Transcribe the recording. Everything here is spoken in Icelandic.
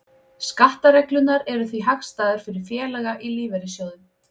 Skattareglurnar eru því hagstæðar fyrir félaga í lífeyrissjóðum.